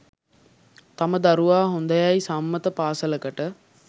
තම දරුවා හොඳයැයි සම්මත පාසලකට